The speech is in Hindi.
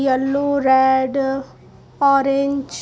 yellow red orange --